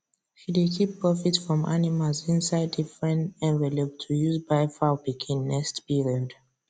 she dey keep profit from animals inside different envelope to use buy fowl pikin next period